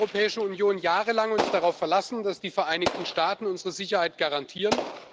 Wir haben uns als Europäische Union jahrelang darauf verlassen, dass die Vereinigten Staaten unsere Sicherheit garantieren.